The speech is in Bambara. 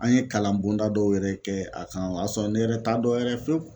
An ye kalan bɔnda dɔw yɛrɛ kɛ a kan o y'a sɔrɔ ne yɛrɛ t'a dɔn yɛrɛ fiyewu